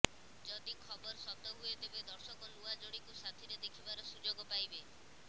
ଯଦି ଖବର ସତ ହୁଏ ତେବେ ଦର୍ଶକ ନୂଆ ଯୋଡ଼ିକୁ ସାଥୀରେ ଦେଖିବାର ସୁଯୋଗ ପାଇବେ